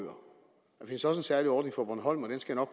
findes også en særlig ordning for bornholm